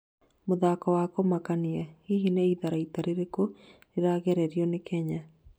mũtuthũko wa kumakania: hihi nĩ itharaita ririkũ rĩrageririo nĩ kenya ?